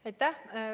Aitäh!